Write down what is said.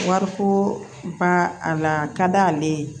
Wariko ba a la ka d'ale ye